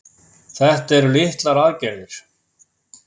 Þetta eru litlar aðgerðir